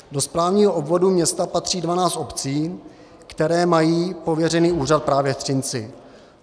Do správního obvodu města patří 12 obcí, které mají pověřený úřad právě v Třinci.